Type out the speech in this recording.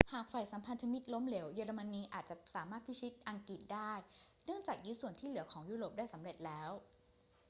หากฝ่ายสัมพันธมิตรล้มเหลว เยอรมนีอาจจะสามารถพิชิตอังกฤษได้ เนื่องจากยึดส่วนที่เหลือของยุโรปไปได้สำเร็จแล้ว